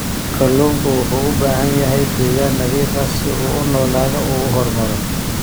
Kalluunku wuxuu u baahan yahay deegaan nadiif ah si uu u noolaado oo uu u horumaro.